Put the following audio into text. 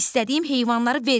İstədiyim heyvanları verin.